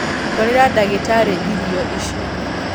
Twarĩra ndagĩtarĩ irio ici